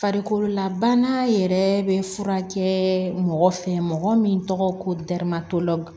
Farikololabana yɛrɛ bɛ furakɛ mɔgɔ fɛ mɔgɔ min tɔgɔ ko damatɛmɛn